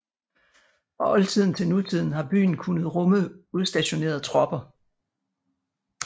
Fra oldtiden til nutiden har byen kunnet rumme udstationerede tropper